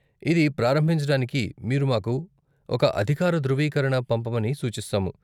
ఇది ప్రారంభించటానికి మీరు మాకు ఒక అధికార ధృవీకరణ పంపమని సూచిస్తాము.